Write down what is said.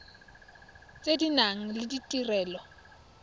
tse di nang le ditirelo